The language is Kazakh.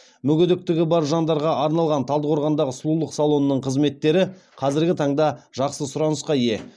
мүгедектігі бар жандарға арналған талдықорғандағы сұлулық салонының қызметтері қазіргі таңда жақсы сұранысқа ие